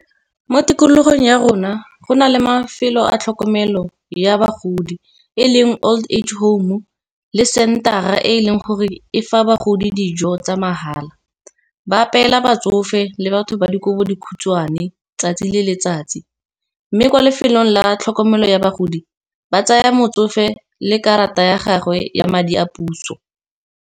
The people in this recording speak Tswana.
Mo tikologong ya rona go na le mafelo a tlhokomelo ya bagodi, e leng old age home le center e e leng gore e fa bagodi dijo tsa mahala, ba apeela batsofe le batho ba dikobodikhutshwane 'tsatsi le letsatsi. Mme kwa lefelong la tlhokomelo ya bagodi, ba tsaya motsofe le karata ya gagwe ya madi a puso.